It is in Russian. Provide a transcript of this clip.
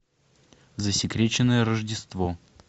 засекреченное рождество